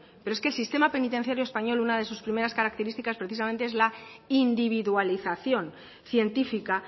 pero es que el sistema penitenciario español una de sus primeras características precisamente es la individualización científica